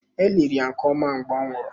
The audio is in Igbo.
E liri ya nke ọma mgbe ọ nwụrụ.